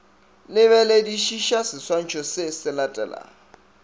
lebeledišiša seswantšho se se latelago